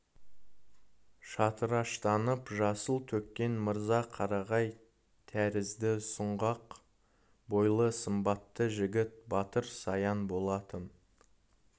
шатыраштанып жасыл төккен мырза қарағай тәрізді сұңғақ бойлы сымбатты жігіт батыр саян болатын